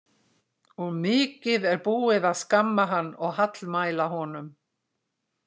Og mikið er búið að skamma hann og hallmæla honum.